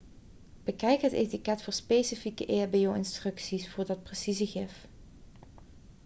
bekijk het etiket voor specifieke ehbo-instructies voor dat precieze gif